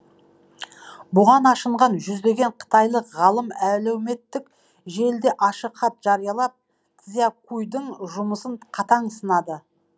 бұған ашынған жүздеген қытайлық ғалым әлеуметтік желіде ашық хат жариялап цзянькуйдың жұмысын қатаң сынады